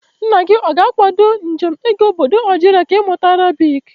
Nna gị ọ ga-akwado njem gị ịga ọbọdọ Algeria ka ị mụta Arabic?